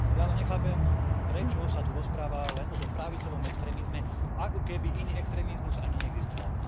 Ja ale nechápem, prečo sa tu rozpráva len o tom pravicovom extrémizme, ako keby iný extrémizmus ani neexistoval.